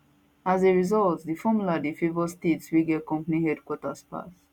as a result di formula dey favour states wey get companies headquarters pass